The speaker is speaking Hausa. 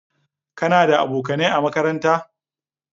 Kana da abokanai a makaranta?